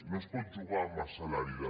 no es pot jugar amb el salari de la